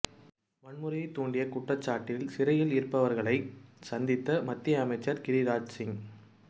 வன்முறையை தூண்டிய குற்றச்சாட்டில் சிறையில் இருப்பவர்களை சந்தித்த மத்திய அமைச்சர் கிரிராஜ் சிங்